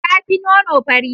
Ta fi nono, fari.